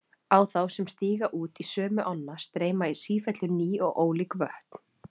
Á þá sem stíga út í sömu ána streyma í sífellu ný og ólík vötn.